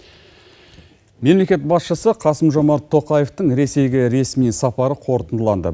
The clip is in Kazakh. мемлекет басшысы қасым жомарт тоқаевтың ресейге ресми сапары қорытындыланды